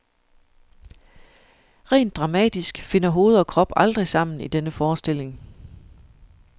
Rent dramatisk finder hoved og krop aldrig sammen i denne forestilling.